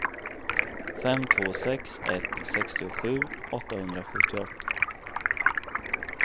fem två sex ett sextiosju åttahundrasjuttioåtta